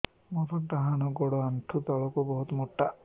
ମୋର ଡାହାଣ ଗୋଡ ଆଣ୍ଠୁ ତଳୁକୁ ବହୁତ ମୋଟା